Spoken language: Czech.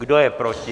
Kdo je proti?